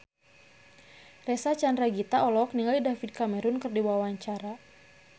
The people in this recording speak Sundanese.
Reysa Chandragitta olohok ningali David Cameron keur diwawancara